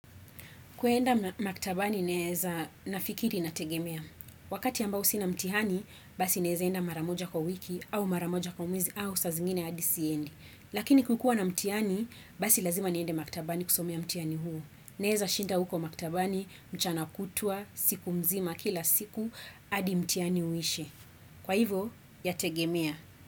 Kwenda maktabani naeza nafikiri inategemea. Wakati ambao sina mtihani, basi naeza enda mara moja kwa wiki au mara moja kwa mwezi au saa zingine hadi siendi. Lakini kukua na mtihani, basi lazima niende maktabani kusomea mtihani huo. Naeza shinda huko maktabani, mchana kutwa, siku mzima, kila siku, hadi mtihani uishe. Kwa hivo, yategemea.